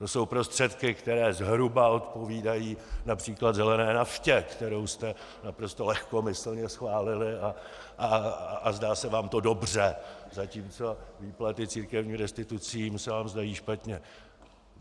To jsou prostředky, které zhruba odpovídají například zelené naftě, kterou jste naprosto lehkomyslně schválili, a zdá se vám to dobře, zatímco výplaty církevním restitucím se vám zdají špatně.